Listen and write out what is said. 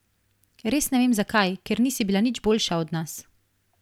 Res ne vem zakaj, ker nisi bila nič boljša od nas.